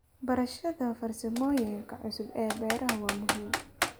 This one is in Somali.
Barashada farsamooyinka cusub ee beeraha waa muhiim.